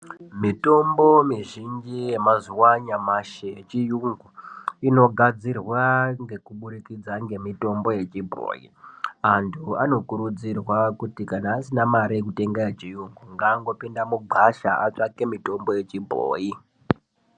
Mitombo mizhinji yemazuwa anyamashi yechiyungu inogadzirwa ngekuburikidza ngemitombo yechibhoyi. Antu anokurudzirwa kuti kana asina mare yokutenga yechiyungu ngangopinda mugwasha atsvake mitombo yechibhoyi.